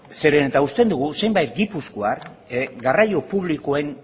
zeren eta usten dugu zenbait gipuzkoar garraio publikoen